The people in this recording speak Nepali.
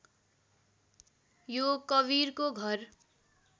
यो कवीरको घर